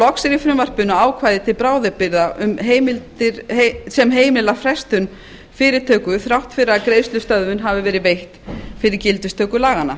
loks er í frumvarpinu ákvæði til bráðabirgða sem heimilar frestun fyrirtöku þrátt fyrir að greiðslustöðvun hafi verið veitt fyrir gildistöku laganna